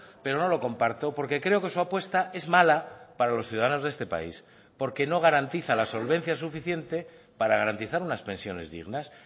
pero no lo comparto porque creo que su apuesta es mala para los ciudadanos de este país porque no garantiza la solvencia suficiente para garantizar unas pensiones dignas